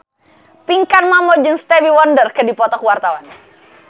Pinkan Mambo jeung Stevie Wonder keur dipoto ku wartawan